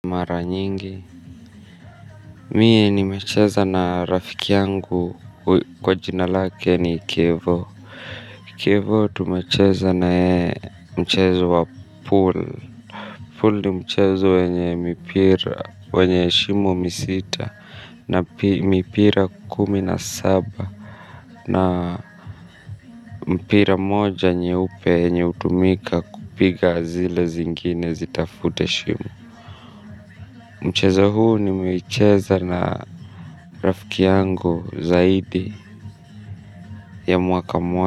Mara nyingi. Mie ni mecheza na rafiki yangu kwa jinalake ni Kevo. Kevo tumecheza na yeye mchezo wa pool Pool ni mchezo wenye mipira, wenye shimo misita, na mipira kumina saba, na mpira moja nyeupe enye utumika kupiga zile zingine zitafute shimo. Mchezo huu nimeicheza na rafiki yangu zaidi ya mwaka mwaka.